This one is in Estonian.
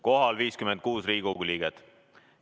Kohal on 56 Riigikogu liiget.